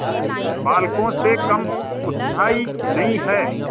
बालकों से कम उत्साही नहीं है